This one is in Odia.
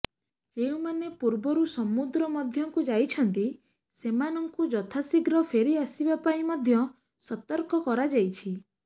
ଯେଉଁମାନେ ପୂର୍ବରୁ ସମୁଦ୍ର ମଧ୍ୟକୁ ଯାଇଛନ୍ତି ସେମାନଙ୍କୁ ଯଥାଶୀଘ୍ର ଫେରିଆସିବା ପାଇଁ ମଧ୍ୟ ସତର୍କ କରାଯାଇଛି